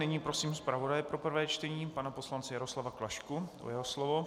Nyní prosím zpravodaje pro prvé čtení pana poslance Jaroslava Klašku o jeho slovo.